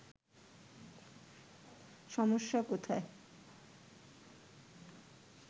সমস্যা কোথায়”